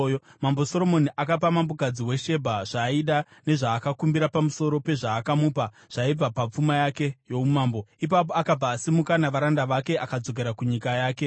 Mambo Soromoni akapa mambokadzi weShebha zvaaida nezvaakakumbira, pamusoro pezvaakamupa zvaibva papfuma yake youmambo. Ipapo akabva asimuka navaranda vake akadzokera kunyika yake.